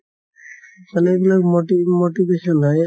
মানে এইবিলাক মতি motivation হয়